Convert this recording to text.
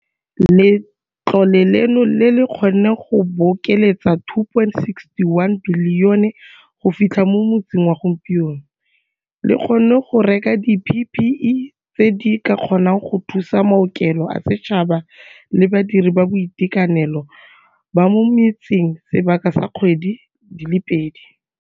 Letlole leno, le le kgonneng go bokeletsa R2.61 bilione go fi tlha mo motsing wa gompieno, le kgonne go reka di-PPE tse di ka kgonang go thusa maokelo a setšhaba le badiredi ba boitekanelo ba mo metseng sebaka sa dikgwedi di le pedi.